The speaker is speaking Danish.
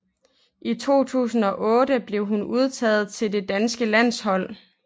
I år 2008 blev hun udtaget til det danske landshold